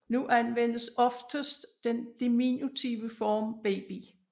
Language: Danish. Nu anvendes oftest den diminutive form baby